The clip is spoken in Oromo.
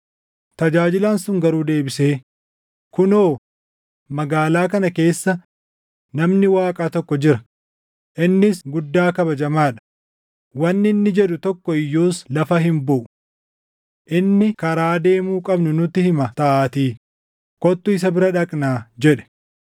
Tajaajilaan sun garuu deebisee, “Kunoo! Magaalaa kana keessa namni Waaqaa tokko jira; innis guddaa kabajamaa dha; wanni inni jedhu tokko iyyuus lafa hin buʼu. Inni karaa deemuu qabnu nutti hima taʼaatii kottu isa bira dhaqnaa” jedhe.